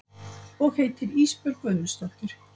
Og heitir Ísbjörg Guðmundsdóttir.